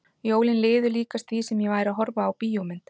Jólin liðu líkast því sem ég væri að horfa á bíómynd.